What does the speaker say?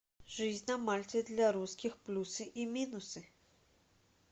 жизнь на мальте для русских плюсы и минусы